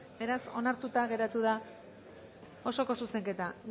beraz onartuta geratu da osoko zuzenketa